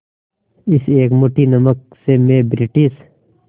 इस एक मुट्ठी नमक से मैं ब्रिटिश